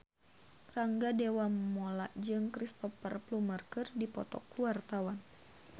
Rangga Dewamoela jeung Cristhoper Plumer keur dipoto ku wartawan